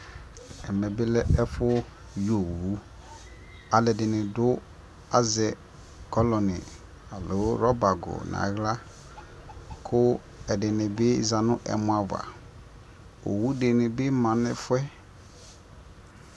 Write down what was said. ɛmɛ bi lɛ ɛƒʋ yi ɔwʋ, alʋɛdini dʋ azɛ kɔlɔni alɔ rubber nʋ ala kʋ ɛdini bi zanʋ ɛmɔ aɣa, ɔwʋ dini bi manʋ ɛƒʋɛ